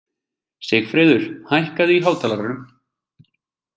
Sigfreður, hækkaðu í hátalaranum.